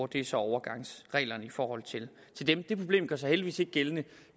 det er så overgangsreglerne i forhold til dem det problem gør sig heldigvis ikke gældende